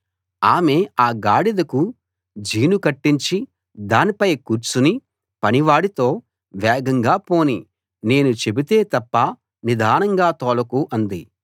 ఆమె ఆ గాడిదకు జీను కట్టించి దానిపై కూర్చుని పనివాడితో వేగంగా పోనీ నేను చెబితే తప్ప నిదానంగా తోలకు అంది